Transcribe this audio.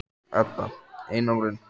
Edda: Einangrun?